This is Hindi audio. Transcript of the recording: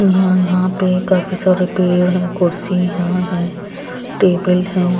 यहां पे काफी सारे पेड़ हैं कुर्सी यहां है टेबल है।